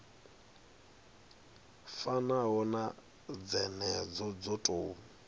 fanaho na dzenedzo dzo tou